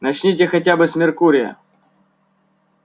начните хотя бы с меркурия